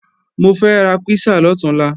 Mo fẹ́ ra písà lọ̀túnla